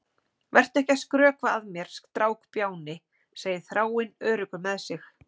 Vertu ekki að skrökva að mér, strákbjáni, segir Þráinn, öruggur með sig.